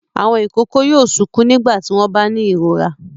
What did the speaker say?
Àwọn ìkókó yóò sunkún nígbà tí wọ́n bá ní ìrora.